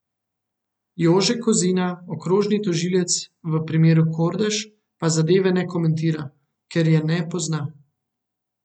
Jože Kozina, okrožni tožilec v primeru Kordež, pa zadeve ne komentira, ker je ne pozna.